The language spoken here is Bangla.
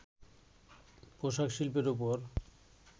পোশাক শিল্পের ওপর